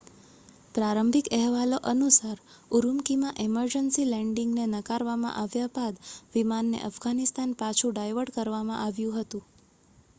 પ્રારંભિક અહેવાલો અનુસાર ઉરુમ્કીમાં ઇમરજન્સી લેન્ડિંગ ને નકારવામાં આવ્યા બાદ વિમાનને અફઘાનિસ્તાન પાછું ડાયવર્ટ કરવામાં આવ્યું હતું